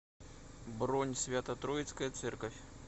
бронь свято троицкая церковь